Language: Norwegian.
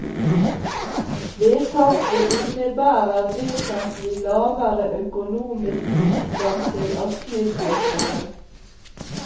Vedtaket innebærer vesentlig lavere økonomisk bistand til asylsøkere.